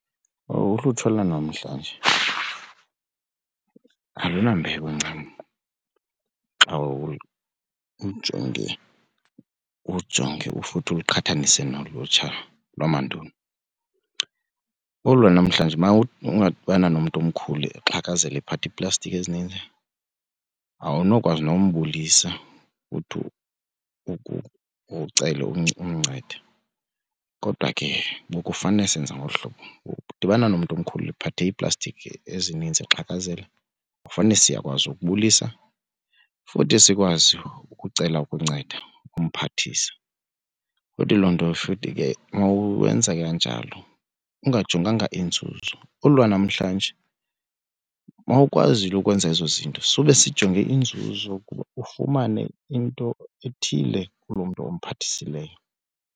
Owu ulutsha lwanamhlanje alunambeko ncam xa ulujonge futhi uliqhathanise nolutsha lamandulo. Olu lwanamhlanje uma ungadibana nomntu omkhulu exhakazela iphatha iiplastiki ezininzi awunokwazi nombulisa uthi ucela umncede. Kodwa ke bokufanele senza ngolu hlobo udibana nomntu omkhulu ephathe iiplastiki ezininzi exhakazela ufane siyakwazi ukubulisa futhi sikwazi ukucela ukunceda simphathise. Futhi loo nto futhi ke mawenze kanjalo ungajonganga inzuzo olu lwanamhlanje mawukwazile ukwenza ezo zinto sube sijonge inzuzo ukuba ufumane into ethile kulo mntu umphathisileyo.